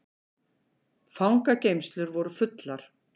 Fangageymslur voru fullar